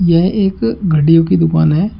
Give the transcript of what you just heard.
यह एक घड़ियों की दुकान है।